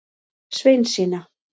Sveinsína